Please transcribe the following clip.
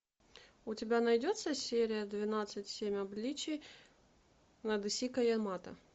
у тебя найдется серия двенадцать семь обличий надэсико ямато